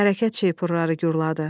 Hərəkət şeypuru guruldadı.